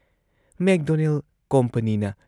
McDonald ꯀꯣꯝꯄꯅꯤꯅ